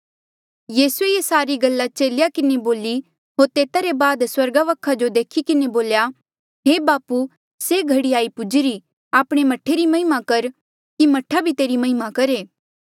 यीसूए ये सारी गल्ला चेलेया किन्हें बोली होर तेता रे बाद स्वर्गा वखा जो देखी किन्हें बोल्या हे बापू से घड़ी आई पुजीरी आपणे मह्ठे री महिमा कर कि मह्ठा भी तेरी महिमा करहे